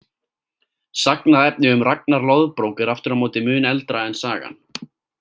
Sagnaefni um Ragnar loðbrók er aftur á móti mun eldra en sagan.